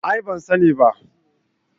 A'a ban sani ba